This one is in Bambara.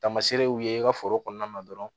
Taamaseere y'u ye i ka foro kɔnɔna na dɔrɔn